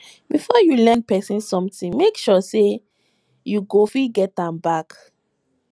before you lend pesin sometin make sure sey you go fit get am back